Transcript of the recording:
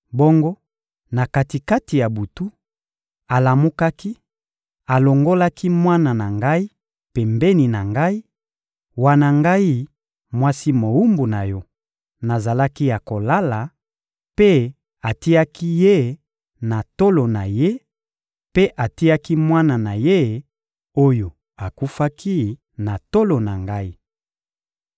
Bongo, na kati-kati ya butu, alamukaki, alongolaki mwana na ngai pembeni na ngai, wana ngai, mwasi mowumbu na yo, nazalaki ya kolala, mpe atiaki ye na tolo na ye; mpe atiaki mwana na ye, oyo akufaki, na tolo na ngai.